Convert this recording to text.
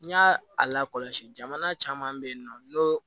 N y'a a lakɔlɔsi jamana caman bɛ yen nɔ n'o